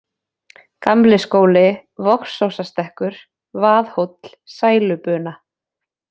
Gamli-Skóli, Vogsósastekkur, Vaðhóll, Sælubuna